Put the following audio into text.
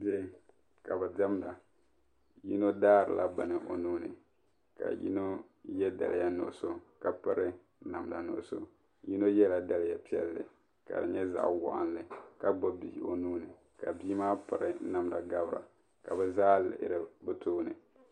Bihi ka bi diɛmda yino daari la bini o nuuni ka yino ye daliya nuɣuso ka piri namda nuɣuso yino yela daliya piɛlli ka di nye zaɣwɔɣinli ka gbubi bii o nuuni ka biimaa piri namda gabira ka bi zaa lihiri bi tooni.